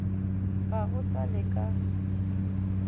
ga go sa le ka